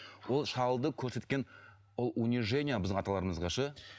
ол шалды көрсеткен ол унижение біздің аталарымызға ше